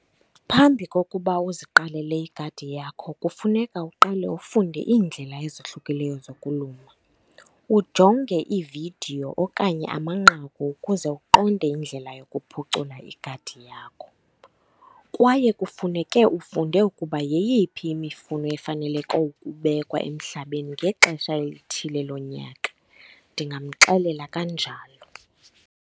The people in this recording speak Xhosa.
Phambi kokuba uziqalele igadi yakho kufuneka uqale ufunde iindlela ezohlukileyo zokulima, ujonge iividiyo okanye amanqaku ukuze uqonde indlela yokuphucula igadi yakho. Kwaye kufuneke ufunde ukuba yeyiphi imifuno efaneleke ukubekwa emhlabeni ngexesha elithile lonyaka. Ndingamxelela kanjalo.